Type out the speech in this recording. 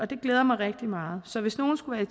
det glæder mig rigtig meget så hvis nogen skulle